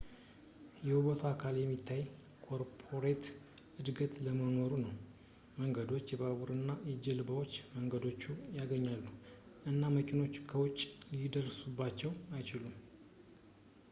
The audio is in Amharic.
የውበቱ አካል የሚታይ ኮርፖሬት እድገት አለመኖሩ ነው መንገዶች ባቡሮች እና ጀልባዎች መንደሮቹን ያገናኛሉ እና መኪኖች ከውጪ ሊደርሱባቸው አይችሉም